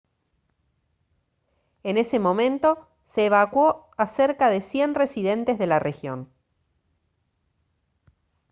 en ese momento se evacuó a cerca de 100 residentes de la región